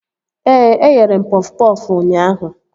Ee, eghere m pọf pọfụ ahụ ụnyaahụ